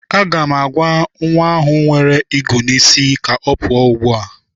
Aga m agwa nwa ahụ nwere igwu isi ka ọ pụa ugbua!